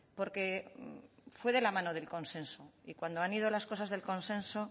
porque fue de la mano del consenso y cuando han ido las cosas en consenso